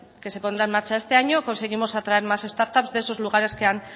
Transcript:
que se pondrá en marcha este año conseguimos atraer más start ups de esos lugares que han